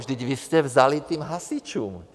Vždyť vy jste vzali těm hasičům.